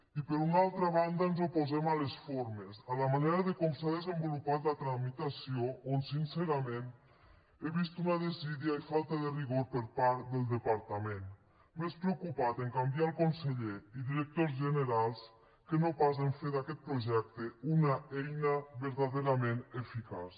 i per una altra banda ens oposem a les formes a la manera com s’ha desenvolupat la tramitació on sincerament he vist una desídia i falta de rigor per part del departament més preocupat a canviar el conseller i directors generals que no pas a fer d’aquest projecte una eina verdaderament eficaç